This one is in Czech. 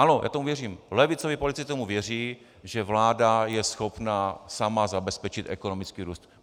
Ano, já tomu věřím, levicoví politici věří tomu, že vláda je schopna sama zabezpečit ekonomický růst.